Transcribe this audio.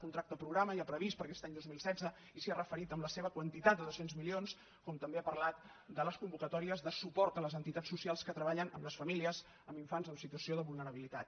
contracte programa ja previst per a aquest any dos mil setze i s’hi ha referit amb la seva quantitat de dos cents milions com també ha parlat de les convocatòries de suport a les entitats socials que treballen amb les famílies amb infants en situació de vulnerabilitat